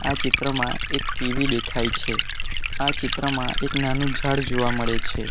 ચિત્રમાં એક ટી_વી દેખાય છે આ ચિત્રમાં એક નાનું ઝાડ જોવા મળે છે.